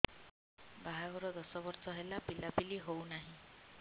ବାହାଘର ଦଶ ବର୍ଷ ହେଲା ପିଲାପିଲି ହଉନାହି